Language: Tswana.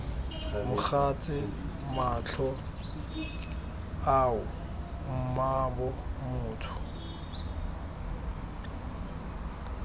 mogatse matlho ao mmaabo motho